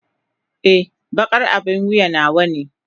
Ee, baƙar abin wuya nawa ne.